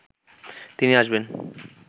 তিনি আসবেন